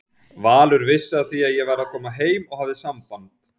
Valur vissi af því að ég væri að koma heim og hafði samband.